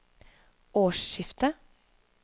årsskiftet